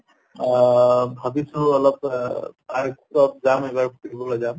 আহ ভাবিছো অহ park ত যাম এবাৰ ফুৰিবলৈ যাম